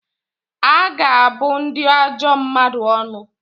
A ga-abụ ndị ajọ mmadụ ọnụ.